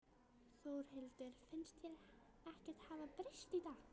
Þórhildur: Finnst þér ekkert hafa breyst í dag?